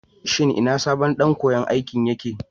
Shin ina sabon ɗan koyan aikin?